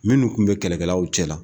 Minnu kun bɛ kɛlɛkɛlaw cɛla la.